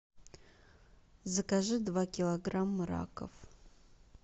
закажи два килограмма раков